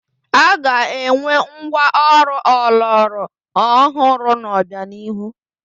A ga-enwe ngwa ọrụ ọlọrọ ọhụrụ n'obianihu.